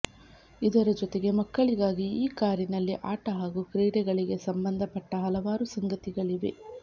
ಇದರ ಜೊತೆಗೆ ಮಕ್ಕಳಿಗಾಗಿ ಈ ಕಾರಿನಲ್ಲಿ ಆಟ ಹಾಗೂ ಕ್ರೀಡೆಗಳಿಗೆ ಸಂಬಂಧಪಟ್ಟ ಹಲವಾರು ಸಂಗತಿಗಳಿವೆ